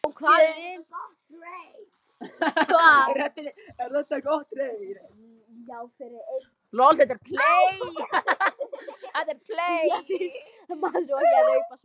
Maður á ekki að raupa svona.